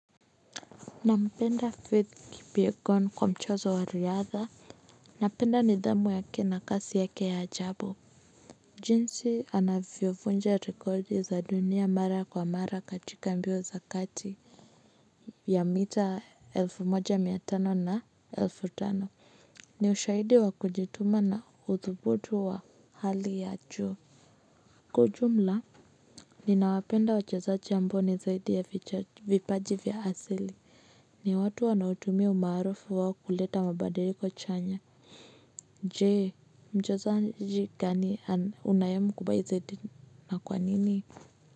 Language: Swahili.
Nampenda faith kipyegon kwa mchezo wa riadha. Napenda nidhamu yake na kasi yake ya ajabu. Jinsi anavyovunja rekodi za dunia mara kwa mara katika mbio za kati vya mita elfu moja mia tano na elfu tano. Ni ushahidi wa kujituma na uthubutu wa hali ya juu. Kwa ujumla ninawapenda wachezaji ambao ni zaidi ya vipaji vya asili ni watu wanaotumia umaarufu wao kuleta mabadiliko chanya jee mchezaji gani unayemkubaizeti na kwa nini.